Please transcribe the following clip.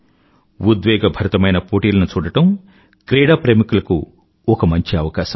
ఉద్వేగభరితమైన పోటీలను చూడటం క్రీడాప్రేమికులకు ఒక మంచి అవకాశం